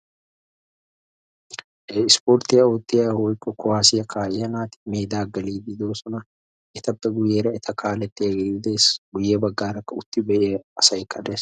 He ispporttiya oottiya/kuwaasiya kaa'iya naati meedaa geliiddi doosona etappe guyyeera eta kaalettiyagee dees. Guyye baggaara utti be'iya asaykka dees.